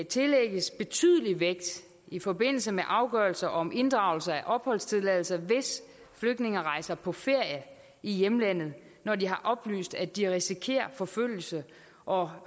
tillægges betydelig vægt i forbindelse med afgørelser om inddragelse af opholdstilladelser hvis flygtninge rejser på ferie i hjemlandet når de har oplyst at de risikerer forfølgelse og